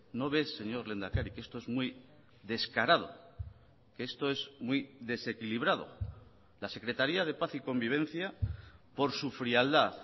no ve señor lehendakari que esto es muy descarado que esto es muy desequilibrado la secretaria de paz y convivencia por su frialdad